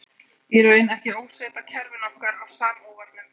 Í raun ekki ósvipað kerfinu okkar á Samóvarnum.